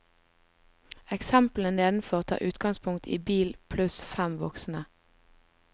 Eksemplene nedenfor tar utgangspunkt i bil pluss fem voksne.